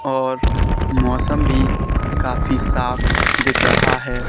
और मौसम भी काफी साफ दिख रहा है।